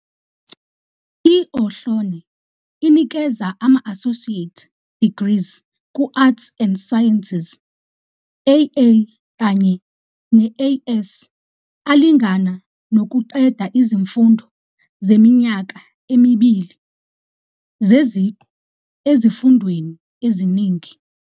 I-Ohlone inikeza ama-associate degrees ku-Arts and Sciences, AA kanye ne-AS, alingana nokuqeda izifundo zeminyaka emibili zeziqu ezifundweni eziningi.